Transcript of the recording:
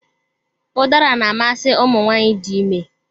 Ụdara na-amasị ụmụ nwaanyị dị ime